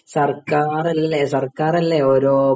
സർക്കാർ അല്ലേ സർക്കാർ അല്ലേ ഓരോ